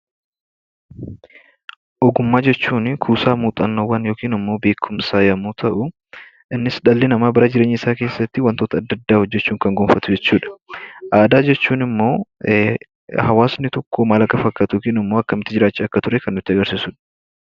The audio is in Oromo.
Ogummaa jechuunii kuusaa muuxannoowwan yookin immoo beekumsaa yemmuu ta'uu innis dhalli namaa bara jireenya isaa keessattii wantoota adda addaa hojjechuun kan gonfatu jechuudha. Aadaa jechuun immoo hawaasni tokko maal akka fakkaatu yookin immoo akkamiiti jiraachaa akka ture kan nutti agarsiisudha.